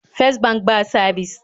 Fes bank ba sabis